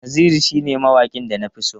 Naziru shine mawaƙin da na fi so.